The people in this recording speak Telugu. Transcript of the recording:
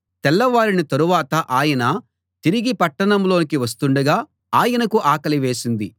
తెల్లవారిన తరువాత ఆయన తిరిగి పట్టణంలోకి వస్తుండగా ఆయనకు ఆకలి వేసింది